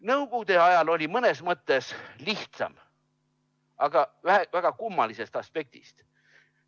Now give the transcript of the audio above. Nõukogude ajal oli mõnes mõttes lihtsam, aga väga kummalisest aspektist.